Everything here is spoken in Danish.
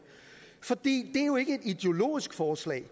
fordi det jo ikke er ideologisk forslag